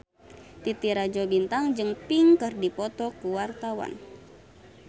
Titi Rajo Bintang jeung Pink keur dipoto ku wartawan